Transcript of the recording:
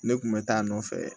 Ne kun bɛ taa a nɔfɛ